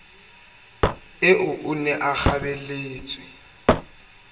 eo o ne a kgabelletswe